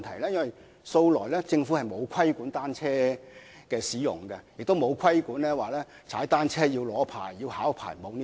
政府素來沒有規管單車的使用，也沒有規定駕駛單車需要考取或領取牌照。